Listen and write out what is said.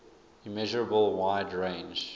immeasurable wide range